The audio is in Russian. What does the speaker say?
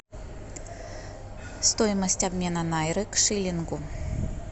стоимость обмена найры к шиллингу